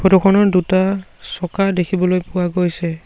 Photo খনৰ দুটা চকা দেখিবলৈ পোৱা গৈছে।